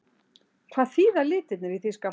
Hvað þýða litirnir í þýska fánanum?